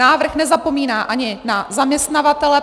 Návrh nezapomíná ani na zaměstnavatele.